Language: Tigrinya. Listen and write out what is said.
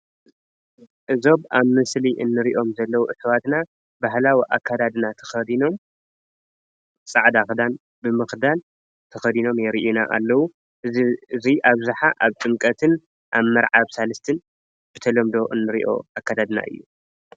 እዞም ኣብ ምስሊ እንሪኦም ዘለዉ ኣሕዋትና ባህላዊ ኣከዳዲና ተከዲኖም ፃዕዳ ኪዳን ብምክዳን ተካዲኖም የሪኡና ኣለው እዙይ እዙይ ኣብዛሓ ኣብ ጥምቀትን ኣብ መርዓ ሳልስትን ብተለምዶ እንሪኦ ኣከዳድና እዩ።